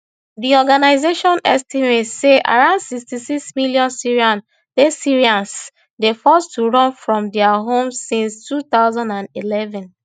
di organisation estimate say around sixty-six million syrians dey syrians dey forced to run from dia homes since two thousand and eleven